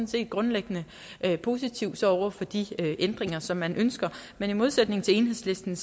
set grundlæggende positiv over for de ændringer som man ønsker men i modsætning til enhedslisten